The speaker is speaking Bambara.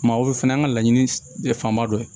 Maaw fana ye an ka laɲini ye fanba dɔ ye